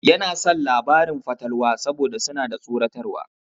Yana son labaran fatalwa saboda suna da tsoratarwa.